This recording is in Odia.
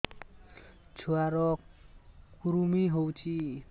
ଛୁଆ ର କୁରୁମି ହୋଇଛି